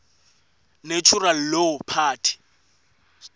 natural law party